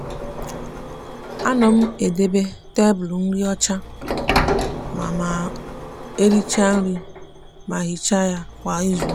a no m edebe tablu nri ocha ma ma ericha nri ma hicha ya kwa izuuka.